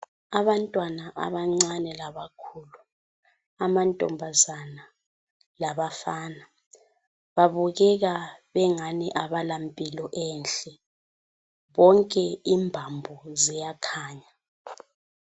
Abantwana abancane labakhulu, amantombazana labafana, babukeka bengani abala mpilo enhle bonke imbambo ziyakhanya.